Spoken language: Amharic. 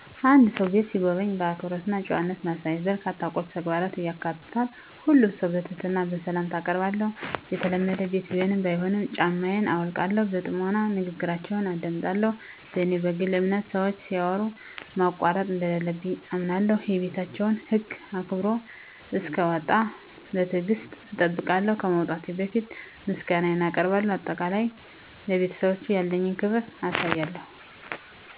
የአንድን ሰው ቤት ስጎበኝ፣ አክብሮት እና ጨዋነት ማሳየት በርካታ ቁልፍ ተግባራትን ያካትታል። ሁሉንም ሰው በትህትና ሰላምታ አአቀርባለሁ፣ የተለመደ ቤት ቢሆንም ባይሆንም ጫማየን አውልቃለሁ። በጥሞና ንግግራችውን አደምጣለሁ፣ በኔ በግል አምነት ሰወች ሲያወሩ ማቋረጥ እንደለለብኝ አምነለሁ። የቤታቸውን ህግ አክብሮ እሰክወጣ በትግሰት እጠብቃለሁ፣ ከመውጣቴ በፈት ምሰጋነየን አቀርባለሁ በአጠቃላይ፣ ለቤተሰባቸው ያለኝን አክብሮት አሳያለሁ።